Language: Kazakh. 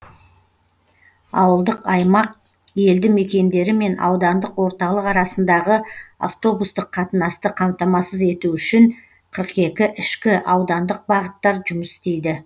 ауылдық аймақ елді мекендері мен аудандық орталық арасындағы автобустық қатынасты қамтамасыз ету үшін қырық екі ішкі аудандық бағыттар жұмыс істейді